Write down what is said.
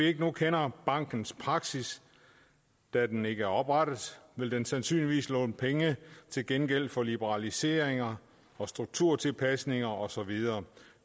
ikke kender bankens praksis da den ikke er oprettet vil den sandsynligvis låne penge til gengæld for liberaliseringer strukturtilpasninger og så videre